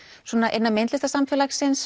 innan